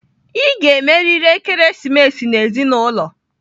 Ị ga-emerịrị ekeresimesi na ezinụlọ!